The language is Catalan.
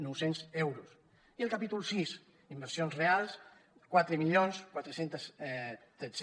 nou cents euros i el capítol sis inversions reals quatre mil quatre cents i tretze